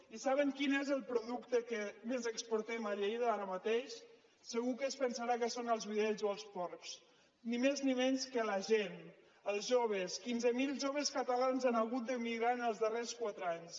i saben quin és el producte que més exportem a lleida ara mateix segur que es pensarà que són els vedells o els porcs ni més ni menys que la gent els joves quinze mil joves catalans han hagut d’emigrar els darrers quatre anys